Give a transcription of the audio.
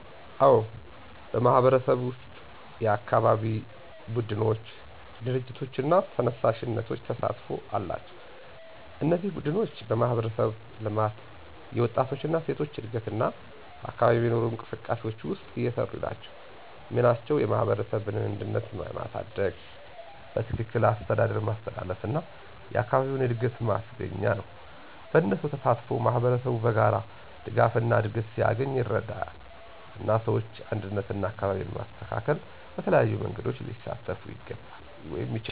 አዎን፣ በማህበረሰብዬ ውስጥ የአካባቢ ቡድኖች፣ ድርጅቶች እና ተነሳሽነቶች ተሳትፎ አላቸው። እነዚህ ቡድኖች በማህበረሰብ ልማት፣ የወጣቶች እና ሴቶች እድገት እና በአካባቢ የሚኖሩ እንቅስቃሴዎች ውስጥ እየሰሩ ናቸው። ሚናቸው የማህበረሰብን አንድነት ማሳደግ፣ በትክክል አስተዳደር ማስተላለፍ እና አካባቢውን እድገት ማስገኛ ነው። በእነሱ ተሳትፎ ማህበረሰቡ በጋራ ድጋፍና እድገት ሲያገኝ ይረዳል፣ እና ሰዎች አንድነትና አካባቢን ማስተካከል በተለያዩ መንገዶች ሊሳተፉ ይችላሉ።